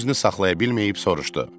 Özünü saxlaya bilməyib soruştu: